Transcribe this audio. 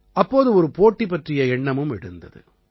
அப்போது ஒரு போட்டி பற்றிய எண்ணமும் எழுந்தது